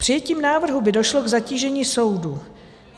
Přijetím návrhu by došlo k zatížení soudů.